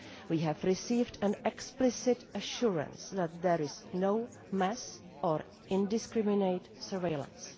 We have received an explicit assurance that there is no mass or indiscriminate surveillance.